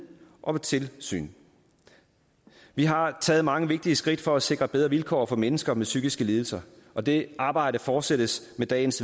og tilsyn vi har taget mange vigtige skridt for at sikre bedre vilkår for mennesker med psykiske lidelser og det arbejde fortsættes med dagens